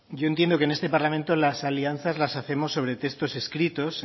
yo entiendo que en este parlamento las alianzas las hacemos sobre textos escritos